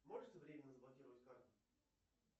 можете временно заблокировать карту